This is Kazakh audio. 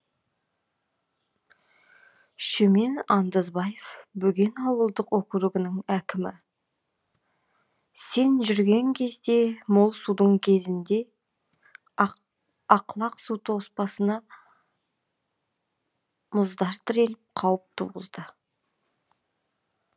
шөмен андызбаев бөген ауылдық округінің әкімі сен жүрген кезде мол судың кезінде ақлақ су тоспасына мұздар тіреліп қауіп туғызады